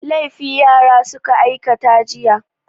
Laifi yara suka aikata jiya.